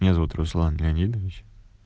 меня зовут руслан леонидович